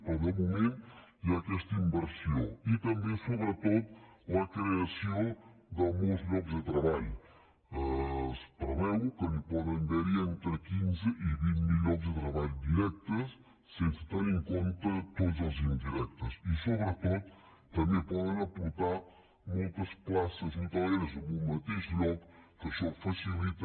però de moment hi ha aquesta inversió i també sobretot per la creació de molts llocs de treball es preveu que hi poden haver entre quinze i vint mil llocs de treball directes sense tenir en compte tots els indirectes i sobretot també poden aportar moltes places hoteleres en un mateix lloc que això ho facilita